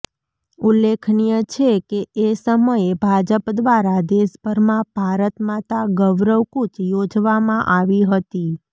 ઉલ્લેખનીય છે કે એ સમયે ભાજપ દ્વારા દેશભરમાં ભારતમાતા ગૌરવકુચ યોજવામાં આવી હતી